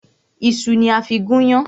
Ìṣu ni a fí gún yán.